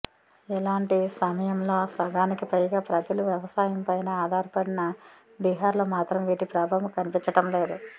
ఇలాంటి సమయంలో సగానికి పైగా ప్రజలు వ్యవసాయంపైనే ఆధారపడిన బీహార్లో మాత్రం వీటి ప్రభావం కనిపించడం లేదు